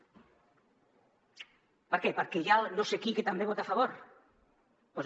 per què perquè hi ha no sé qui que també hi vota a favor doncs no